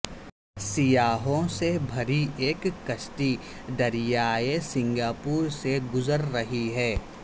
سیاحوں سے بھری ایک کشتی دریائے سنگاپور سے گزر رہی ہے